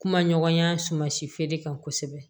Kuma ɲɔgɔnya suman si feere kan kosɛbɛ